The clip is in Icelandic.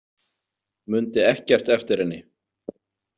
Mundi ekkert eftir henni.